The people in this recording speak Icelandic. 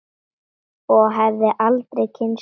Og hefði aldrei kynnst Jóru.